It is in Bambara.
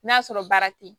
N'a sɔrɔ baara te yen